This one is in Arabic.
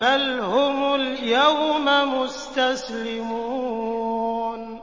بَلْ هُمُ الْيَوْمَ مُسْتَسْلِمُونَ